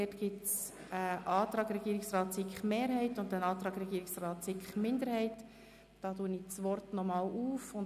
Wir haben hier einen Antrag Regierungsrat und SiK-Mehrheit sowie einen Antrag SiK-Minderheit.